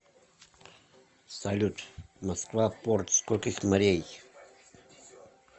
салют москва порт скольких морей